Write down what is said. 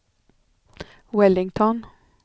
Wellington